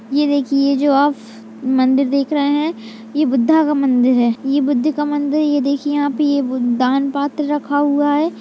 ये देखिए जो आप मंदिर देख रहे हैं यह बुद्धा का मंदिर है। यह बुद्ध का मंदिर है। ये देखिए यहाँ पर ये वो दान पत्र रखा हुआ है।